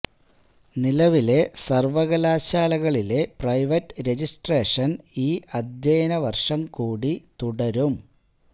നിലവിലെ സർവകലാശാലകളിലെ private registration ഈ അധ്യയനം വർഷം കൂടി തുടരും